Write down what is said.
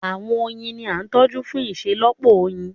Àwọn oyin ní a tójú fún iṣelọpọ oyin.